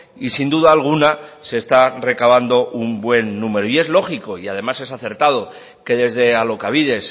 y sin duda alguna se está recabando un buen número y es lógico y además es acertado que desde alokabide